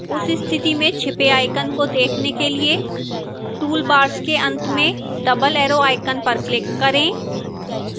उस स्थिति में छिपे icon को देखने के लिए toolbars के अंत में double arrow icon पर click करें